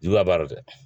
Juguya b'a la dɛ